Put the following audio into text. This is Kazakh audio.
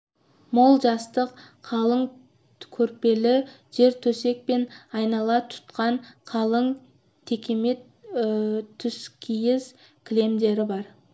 мол жастық қалың көрпелі жертөсек пен айнала тұтқан қалың текемет түскиіз кілемдер бар